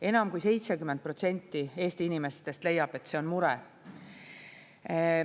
Enam kui 70% Eesti inimestest leiab, et see on mure.